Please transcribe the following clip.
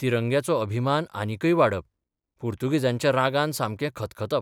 तिरंग्याचो अभिमान आनिकय वाडप पुर्तुगेजांच्या रागान सामके खतखतप.